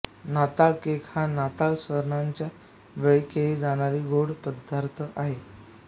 नाताळ केक हा नाताळ सणाच्या वेळी केला जाणारा गोड पदार्थ आहे